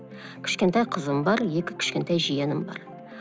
кішкентай қызым бар екі кішкентай жиенім бар